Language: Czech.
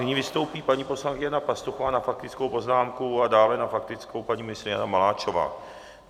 Nyní vystoupí paní poslankyně Jana Pastuchová na faktickou poznámku a dále na faktickou paní ministryně Jana Maláčová.